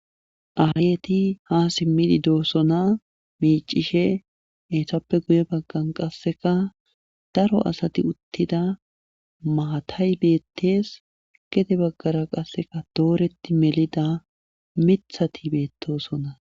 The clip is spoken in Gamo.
aayeti ha simmidi doosona miicishe hesappe guye baggan qasseka daro asati uttida maatay beettees gede baggara qasseka dooreti melida mithati beettosona